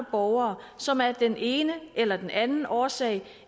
borgere som af den ene eller den anden årsag